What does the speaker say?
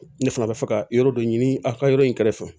Ne fana bɛ fɛ ka yɔrɔ dɔ ɲini a ka yɔrɔ in kɛrɛfɛ